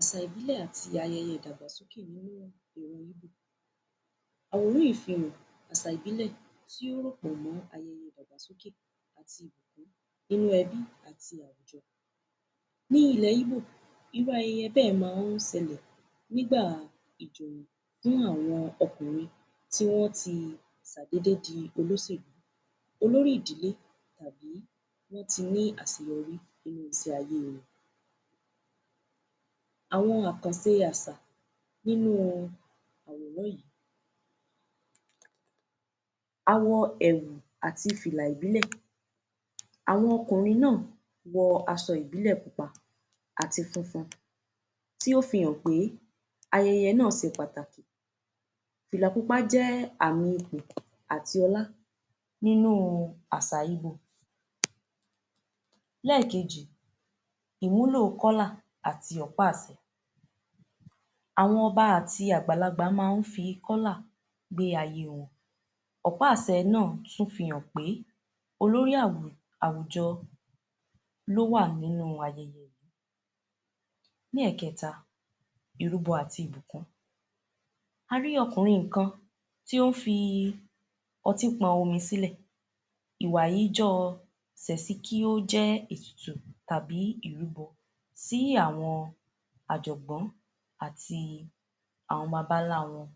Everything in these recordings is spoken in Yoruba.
Àsà ìbílẹ̀ àti ayẹyẹ ìdàgbàsókè Àsà ìbílẹ̀ tí o pẹ̀lú nínú ẹbí àti àjọ. Ní ilẹ̀ íbò, irú ayẹyẹ bẹ́ẹ̀ máa ń sẹlẹ̀ nígbà àjọ̀dún àwọn ọkùnrin tí wọ́n ti sàdédé di olóṣèlú. Olórí ìdílé tàbí tó ti ní àṣeyọrí ayé. Àwọn àkàse àṣà nínú àwòrán yìí, a wọ ẹ̀wù àti fìlà ìbílẹ̀. Àwọn ọkùnrin náà wọ aṣọ ìbílẹ̀ pupa àti funfun tí ó fi hàn pé ayẹyẹ náà se pàtàkì. Fìlà pupa jẹ́ àmì ipò àti ọlá nínú àsà íbò. Lẹ́ẹ̀kejì, ìwúlò àti ọ̀pá-àsẹ, àwọn ọba àti àgbàlagbà máa ń fi gbé ayé wọn. Ọ̀pá-àsè náà tún fi hàn pé olórí àwùjọ ló wà nínú ayẹyẹ. Ní ẹ̀kẹ́ta, irúbọ àti ìbùkún. A rí ọkùnrin kan tí ó ń fi ọtí pọn omi sílẹ̀. Ìwà yìí jọ sẹ̀si kí ó jẹ́ ètùtù tàbí irúbọ sí àwọn àjọ̀nú àti àwọn bàbá ńlá wọn.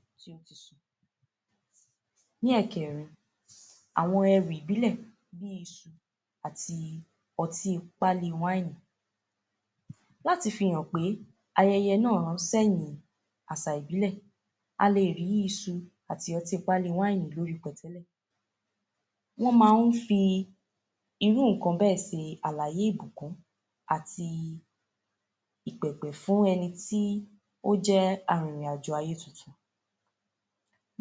Ní ẹ̀kẹ́rin, àwọn ẹrù ìbílẹ̀ bí i iṣu àti ọtí pálí wáínì. Láti fi hàn pé ayẹyẹ náà àsà ìbílẹ̀, a lè rí isu àti ọtí pálí wáìnì. Wọ́n máa ń fi irú nǹkan bẹ́ẹ̀ se àlàyé ìbùkún àti ìpẹ̀pẹ̀ fún ẹni tí ó jẹ́ arìnrìn-àjò ayé titun.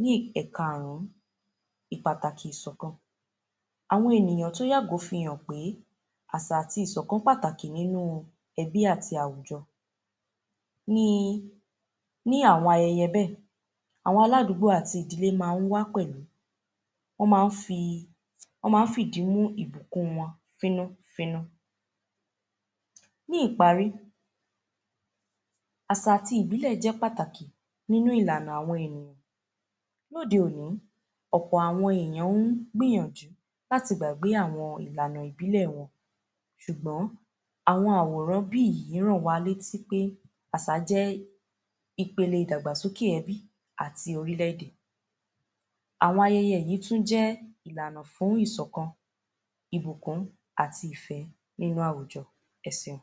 Ní ẹkarùn-ún, ìpàtàkì ìsọ̀kan. Àwọn ènìyàn fi hàn pé àsà àti ìsọ̀kan pàtàkì nínú ẹbí àti àwùjọ. Ní i, Ní àwọn ayẹyẹ bẹ́ẹ̀, àwọn aládùgbò àti ìdílé máa ń wá pẹ̀lú, wọ́n máa ń fi, wọ́n máa ń fìdí mú ìbùkún wọn fínú-fínú. Ní ìparí, àsà àti ìbílẹ̀ jẹ́ pàtàkì nínú ìlànà àwọn ènìyàn. Lóde òní, ọ̀pọ̀ àwọn èèyàn ń gbìyànjú láti gbàgbé àwọn ìlànà ìbílẹ̀ wọn. Ṣùgbọ́n àwọn àwòrán bí ìyí ń ránwa létí pé àsà jẹ́ ipele ìdàgbàsókè ẹbí àti orílẹ̀-èdè. Àwọn ayẹyẹ yìí tún jẹ́ ìlànà fún ìsọ̀kan, ìbùkún, àti ìfẹ́ nínú àwùjọ. Ẹ seun.